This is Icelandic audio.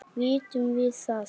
Vitum við það?